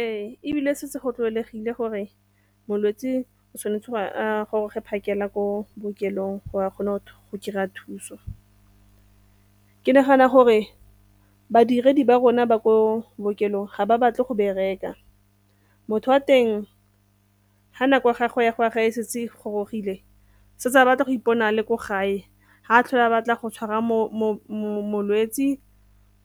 Ee, ebile setse go tlwaelegile gore molwetse o tshwanetse gore a goroge phakela ko bookelong a kgone go kry-a thuso. Ke nagana gore badiredi ba rona ba ko bookelong ga ba batle go bereka motho a teng ga nako ya gago ya go a gae setse gorogile se se a batla go ipona le ko gae ga a tlhola a batla go tshwara molwetsi